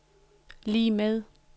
lig med